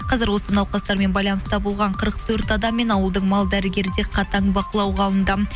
қазір осы науқастармен байланыста болған қырық төрт адаммен ауылдың мал дәрігері де қатаң бақылауға алынды